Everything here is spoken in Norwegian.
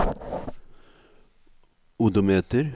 odometer